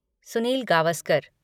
Sunil Gavaskar